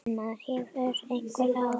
En maður hefur einhver ráð.